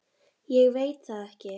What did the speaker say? Ég veit það ekki